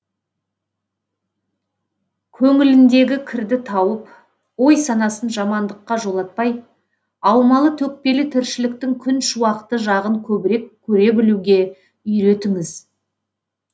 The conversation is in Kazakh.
көңіліндегі кірді тауып ой санасын жамандыққа жолатпай аумалы төкпелі тіршіліктің күн шуақты жағын көбірек көре білуге үйретіңіз